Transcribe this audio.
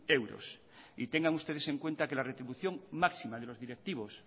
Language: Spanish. euros y tengan ustedes en cuenta que la retribución máxima de los directivos